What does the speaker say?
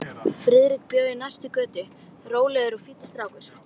Friðrik bjó í næstu götu, rólegur og fínn strákur.